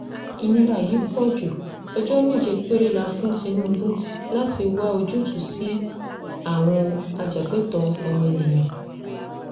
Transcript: ìnira yìí pọ̀ ju ọjọ́ méje péré la fún tinubu láti wá ojútùú sí i àwọn ajàfẹ́tọ̀ọ́ ọmọnìyàn